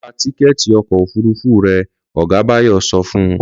Lọ ra tíkẹ́ẹ̀tì ọkọ̀ òfúrufú rẹ!', ọ̀gá Báyọ̀ sọ fun